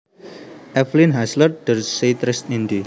Eveline Hasler Der Zeitreisende